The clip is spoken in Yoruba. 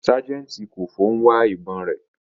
Sajenti Koffo n wa ibon re